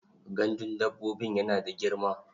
Gandun dabbobin yana da girma?